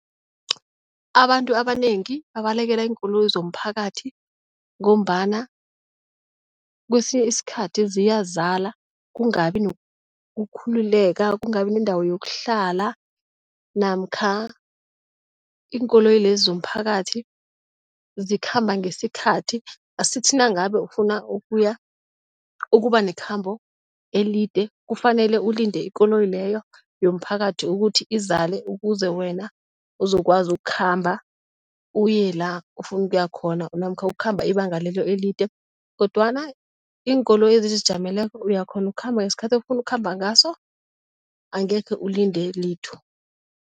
Abantu abanengi babalekela iinkoloyi zomphakathi ngombana kwesinye isikhathi ziyazala, kungabi nokukhululeka, kungabi nendawo yokuhlala namkha iinkoloyi lezi zomphakathi zikhamba ngesikhathi. Asithi nangabe ufuna ukuya ukuba nekhambo elide, kufanele ulinde ikoloyi leyo yomphakathi ukuthi izale ukuze wena uzokwazi ukukhamba uye la ufuna ukuya khona namkha ukhamba ibanga lelo elide kodwana iinkoloyi ezizijameleko uyakghona ukukhamba ngesikhathi ofuna ukukhamba ngaso angekhe ulinde litho.